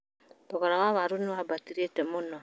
Thogora wa waru nĩ wambatĩte mũno